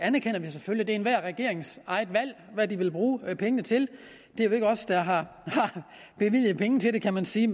enhver regerings eget valg hvad de vil bruge pengene til det er jo ikke os der har bevilget penge til det kan man sige